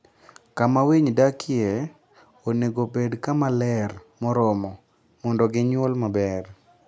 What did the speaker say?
Kama winy dakie onego obed kama ler moromo mondo gionyuol maber.